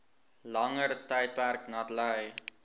langer tydperk natlei